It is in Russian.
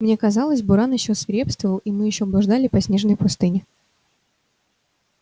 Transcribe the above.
мне казалось буран ещё свирепствовал и мы ещё блуждали по снежной пустыне